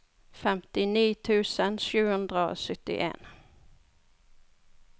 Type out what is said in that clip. femtini tusen sju hundre og syttien